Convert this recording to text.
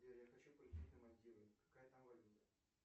сбер я хочу полететь на мальдивы какая там валюта